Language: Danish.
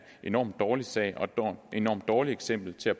enormt dårlig sag og et enormt dårligt eksempel til at